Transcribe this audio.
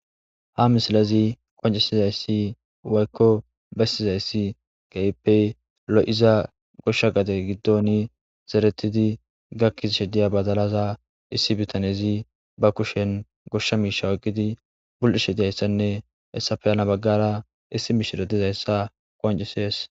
ha misilazi qoncisizayssi waykko bessizayssi ge7ippey lo7iza goshsha gade giddoni zeretidi gakkiz shediya badalaza issi bitanezi ba kushen goshsha miisha wagidi bul7ishe diyayssanne essafeyana baggara issi miishiro dizayssa qoncisees